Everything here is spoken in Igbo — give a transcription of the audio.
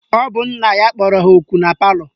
Ọ bụ nna ya kpọrọ ha ọkụ na palọ?